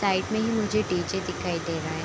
Side में मुझे DJ. दिखाई दे रहा है।